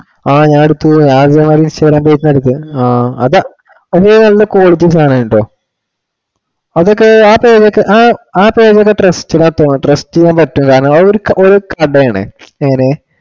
ആ ഞാൻ എടുത്തു ഞാൻ അതാ use ചെയ്യണേ വീടിന് അടുത്ത്. ആ അതെ അത് ഞാൻ എടുത്തേ നല്ല quality സാധനമാണ് കേട്ടോ. അതൊക്കെ ആ payment ഒക്കെ ആ payment trusted ആന്നു തോന്നുന്നു. trust ചെയ്യാൻ പറ്റുന്നതാണ്. അത് ഒരു advantage ആണ് എങ്ങിനെ